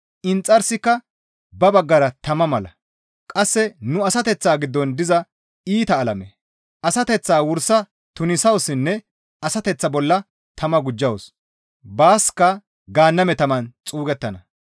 Inxarsika ba baggara tama mala; qasse nu asateththaa giddon diza iita alame. Asateththaa wursa tunisawussinne asateththaa bolla tama gujjawus; baaska gaanname taman xuugettana.